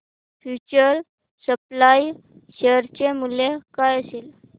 future supply share चे मूल्य काय असेल